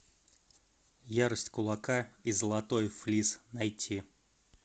ярость кулака и золотой флис найти